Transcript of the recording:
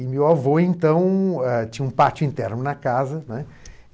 E meu avô, então, ãh tinha um pátio interno na casa, né.